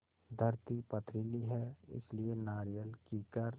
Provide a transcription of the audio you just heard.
धरती पथरीली है इसलिए नारियल कीकर